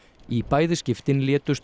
í bæði skiptin létust